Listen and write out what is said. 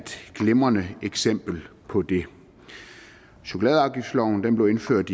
glimrende eksempel på det chokoladeafgiftsloven blev indført